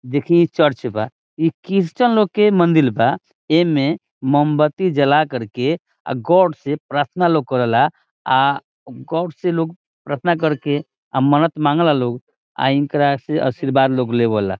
देखिए इ चर्च बा इ क्रिश्चियन लोग के मंदिर बा एमे मोमबत्ती जलाकर के गौर से प्रार्थना लोग करेला आ गौर से लोग प्रार्थना करके मन्नत मांगेला लोग एकरा से आशीर्वाद लोग लेवाला।